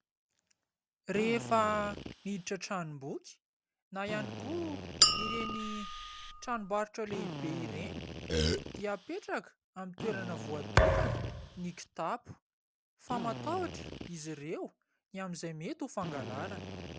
Rehefa miditra tranom-boky na ihany koa ireny tranombarotra lehibe ireny dia apetraka amin'ny toerana voatokana ny kitapo, fa matahotra izy ireo ny amin'izay mety ho fangalarana.